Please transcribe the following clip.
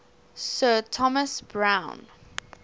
sir thomas browne